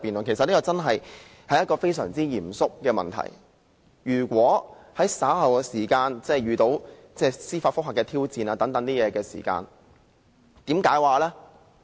其實這確實是非常嚴肅的問題，日後一旦遇上司法覆核等挑戰時，應如何解釋呢？